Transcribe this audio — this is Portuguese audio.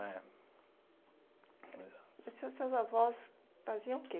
É, exato. E seus avós faziam o quê?